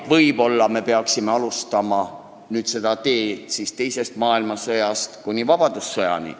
Võib-olla me peaksime alustama nüüd tagasiteed teisest maailmasõjast kuni vabadussõjani.